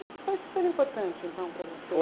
Isso foi super importante, então, para você?